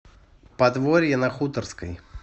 подворье на хуторской